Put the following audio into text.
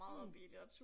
Mh